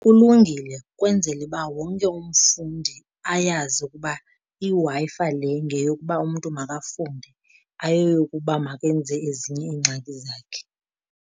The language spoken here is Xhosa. Kulungile kwenzele uba wonke umfundi ayazi ukuba iWi-Fi le ngeyokuba umntu makafunde ayoyokuba makenze ezinye iingxaki zakhe.